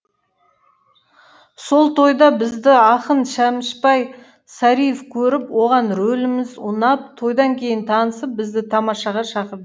сол тойда бізді ақын шөмішбай сариеев көріп оған рөліміз ұнап тойдан кейін танысып бізді тамашаға шақыр